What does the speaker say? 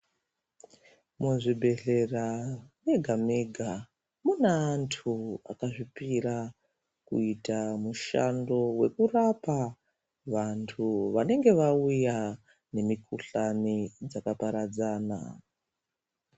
Muzvibhedhlera mega mega mune andu akazvipira kuita mushando wekurapa vandu vanenge vauya nemikuhlani dzakaparadzana.